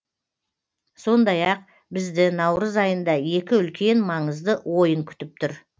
сондай ақ бізді наурыз айында екі үлкен маңызды ойын күтіп түр